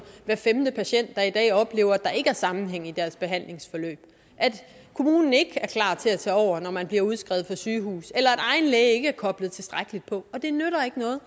hver femte patient der i dag oplever at der ikke er sammenhæng i deres forhandlingsforløb at kommunen ikke er klar til at tage over når man bliver udskrevet fra sygehus eller at egen læge ikke er koblet tilstrækkeligt på det nytter ikke noget